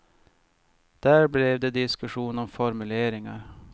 Där blev det diskussion om formuleringar.